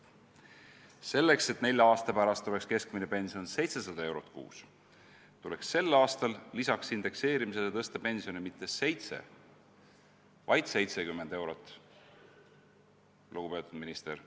Selleks, et nelja aasta pärast oleks keskmine pension 700 eurot kuus, tuleks sel aastal lisaks indekseerimisele tõsta pensione mitte 7, vaid 70 eurot, lugupeetud minister.